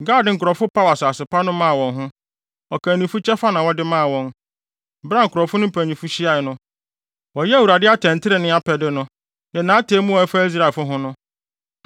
Gad nkurɔfo paw asase pa no maa wɔn ho; ɔkannifo kyɛfa na wɔde maa wɔn. Bere a nkurɔfo no mpanyimfo hyiae no, wɔyɛɛ Awurade atɛntrenee apɛde no, ne nʼatemmu a ɛfa Israelfo ho no.”